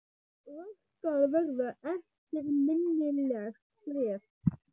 Og það skal verða eftirminnilegt bréf.